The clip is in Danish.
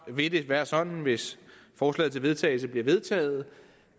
vil det være sådan hvis forslaget til vedtagelse bliver vedtaget